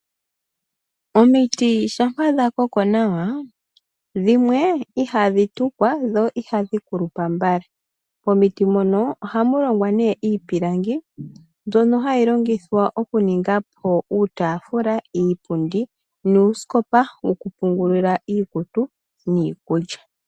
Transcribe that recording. Omiti shampa dha koko nawa, dhimwe ihadhi tukwa dho ihadhi kulupa mbala, momiti mono ohamu longwa nee iipilangi mbyono hayi longithwa okuninga po uutaafula, iipundi nuusikopa wokupungulila iikutu niikulya.